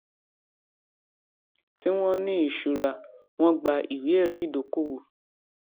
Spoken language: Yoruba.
tí wón ní ìṣura wón gba ìwéẹrí ìdókòwò